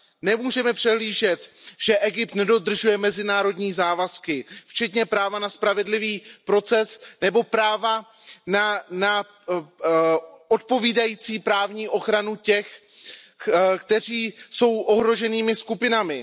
Nemůžeme přehlížet, že Egypt nedodržuje mezinárodní závazky, včetně práva na spravedlivý proces nebo práva na odpovídající právní ochranu těch, kteří jsou ohroženými skupinami.